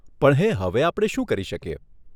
પણ હેં, હવે આપણે શું કરી શકીએ?